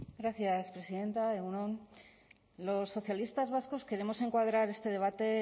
gracias presidenta egun on los socialistas vascos queremos encuadrar este debate